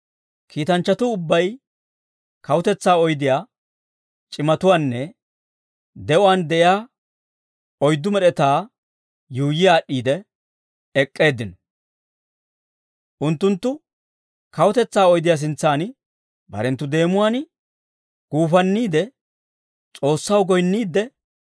Kiitanchchatuu ubbay kawutetsaa oydiyaa, c'imatuwaanne de'uwaan de'iyaa oyddu med'etaa yuuyyi aad'd'iide ek'k'eeddino. Unttunttu kawutetsaa oydiyaa sintsan barenttu deemuwaan guufanniide S'oossaw goyinniidde,